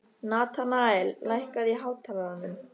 Natanael, lækkaðu í hátalaranum.